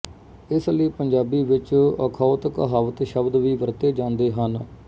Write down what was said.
ਇਸ ਲਈ ਪੰਜਾਬੀ ਵਿਚ ਅਖੌਤਕਹਾਵਤ ਸ਼ਬਦ ਵੀ ਵਰਤੇ ਜਾਂਦੇ ਹਨ